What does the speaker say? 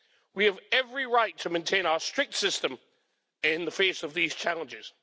We have every right to maintain our strict system in the face of these challenges.